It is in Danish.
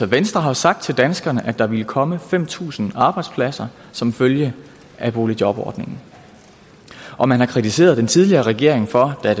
venstre har sagt til danskerne at der ville komme fem tusind arbejdspladser som følge af boligjobordningen og man har kritiseret den tidligere regering for da